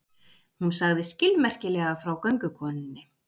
Hún sagði skilmerkilega frá göngukonunni.